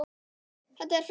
Þetta er frekar mikið.